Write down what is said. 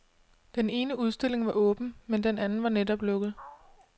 Den ene udstilling var åben, men den anden var netop lukket.